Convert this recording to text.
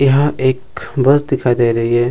यहाँ एक बस दिखाई दे रही है |